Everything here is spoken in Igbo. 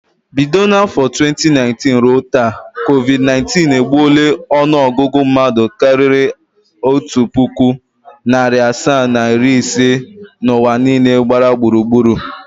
Bido n’afọ 2019 ruo taa, COVID_19 egbuola ọnụọgụgụ mmadụ karịrị otu puku, narị asaa na iri ise n’ụwa niile gba gburur.